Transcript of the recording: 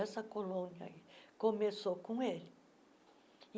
Essa colônia começou com ele.